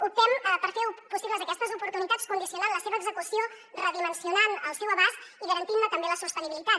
optem per fer possibles aquestes oportunitats condicionant la seva execució redimensionant el seu abast i garantint també la seva sostenibilitat